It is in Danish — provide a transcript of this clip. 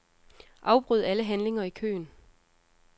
Afbryd alle handlinger i køen.